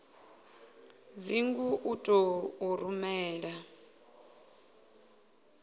dzingu u ḓo u rumela